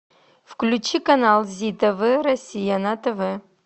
включи канал зи тв россия на тв